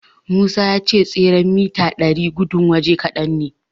Musa ya ce tseren mita ɗari gudun waje kadan ne.